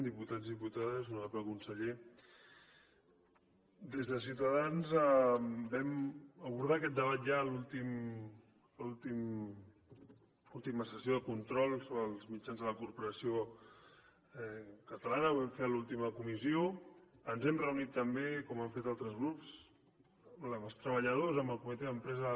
diputats i diputades honorable conseller des de ciutadans vam abordar aquest debat ja a l’última sessió de control sobre els mitjans de la corporació catalana ho vam fer a l’última comissió ens hem reunit també com han fet altres grups amb els treballadors amb el comitè d’empresa